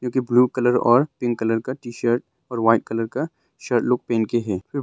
जो कि blue colour और पिंक कलर का टी_शर्ट और व्हाइट कलर का शर्ट लोग पहन के है।